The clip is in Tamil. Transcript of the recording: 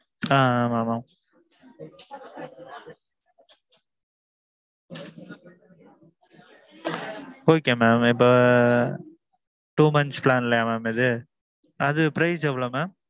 ஆ ஆ ஆமாம் mam. okay mam இப்போ. two months plan லேயா mam இது? அது price எவ்வளவு mam?